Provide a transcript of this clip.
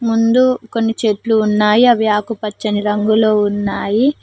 ముందు కొన్ని చెట్లు ఉన్నాయి అవి ఆకుపచ్చని రంగులో ఉన్నాయి.